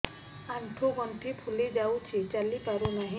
ଆଂଠୁ ଗଂଠି ଫୁଲି ଯାଉଛି ଚାଲି ପାରୁ ନାହିଁ